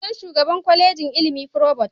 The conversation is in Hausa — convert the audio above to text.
Suna Shugaban Kwalejin ilimi provost.